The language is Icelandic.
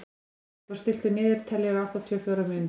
Freyþór, stilltu niðurteljara á áttatíu og fjórar mínútur.